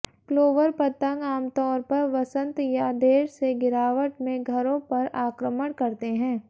clover पतंग आमतौर पर वसंत या देर से गिरावट में घरों पर आक्रमण करते हैं